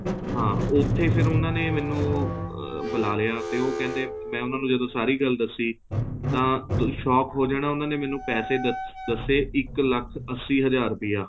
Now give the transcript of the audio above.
ਹਾਂ ਉੱਥੇ ਫ਼ਿਰ ਉਹਨਾ ਨੇ ਮੈਨੂੰ ਅਹ ਬੁਲਾਲਿਆ ਤੇ ਉਹ ਕਹਿੰਦੇ ਮੈਂ ਉਹਨਾ ਨੂੰ ਜਦ ਸਾਰੀ ਗੱਲ ਦੱਸੀ ਤਾਂ shock ਹੋ ਜਾਣਾ ਉਹਨਾ ਨੇ ਮੈਨੂੰ ਪੈਸੇ ਦੱਸੇ ਇੱਕ ਲੱਖ ਅੱਸੀ ਹਜ਼ਾਰ ਰੁਪਇਆ